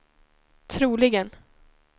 troligen